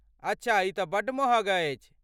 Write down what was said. अच्छा ई तँ बड्ड महग अछि।